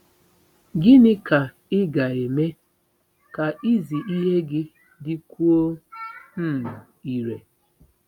Gịnị ka ị ga-eme ka izi ihe gị dịkwuo um irè?